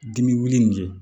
Dimi wulili nin kɛ